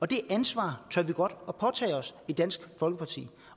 det ansvar tør vi godt påtage os i dansk folkeparti